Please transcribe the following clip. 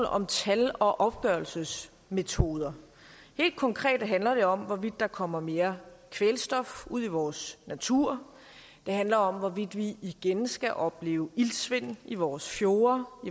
om tal og opgørelsesmetoder helt konkret handler det om hvorvidt der kommer mere kvælstof ud i vores natur det handler om hvorvidt vi igen skal opleve iltsvind i vores fjorde og